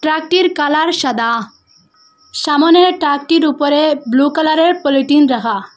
টাকটির colour সাদা সামনের টাকটির উপরে ব্লু কালারের পলিটিন রাখা।